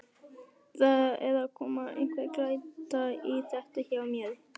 Það er að koma einhver glæta í þetta hjá mér.